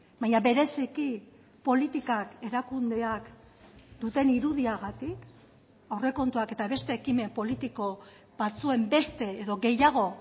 baina bereziki politikak erakundeak duten irudiagatik aurrekontuak eta beste ekimen politiko batzuen beste edo gehiago